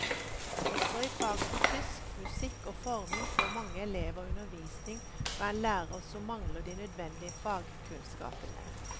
Også i fag som tysk, musikk og forming får mange elever undervisning fra en lærer som mangler de nødvendige fagkunnskapene.